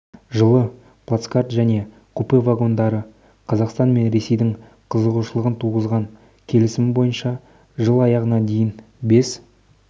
жылы плацкарт және купе вагондары қазақстан мен ресейдің қызығушылығын туғызған келісім бойынша жыл аяғына дейін бес